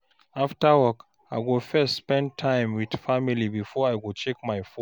After work, I go first spend time with family before I check my phone.